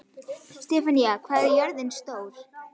Stefana, hvað er jörðin stór?